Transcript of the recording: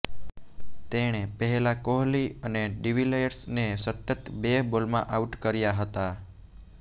તેણે પહેલા કોહલી અને ડિવિલિયર્સને સતત બે બોલમાં આઉટ કર્યા હતા